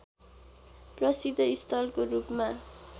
प्रसिद्ध स्थलको रूपमा